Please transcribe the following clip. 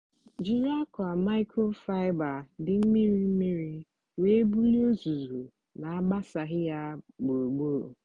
jiri akwa microfiber dị mmiri mmiri were bulie uzuzu na-agbasaghị ya gburugburu.